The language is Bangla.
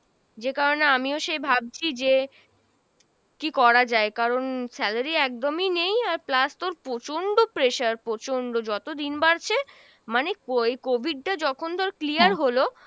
যে কারণে আমিও সে ভাবছি যে কী করা যায় কারণ salary একদমই নেই আর plus তোর প্রচন্ড pressure প্রচন্ড, যত দিন বাড়ছে মানে co~ এই COVID টা যখন তোর clear হলো,